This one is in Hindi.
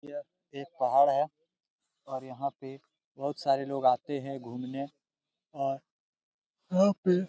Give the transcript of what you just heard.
यह एक पहाड़ है और यहाँ पे बहुत सारे लोग आते है घूमने और यहाँ पे--